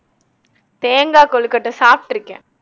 தேங்காய் கொழுக்கட்டை சாப்பிட்டிருக்கேன்